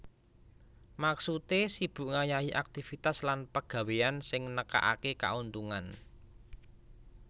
Maksudé sibuk ngayahi aktivitas lan pegawéyan sing nekakaké kauntungan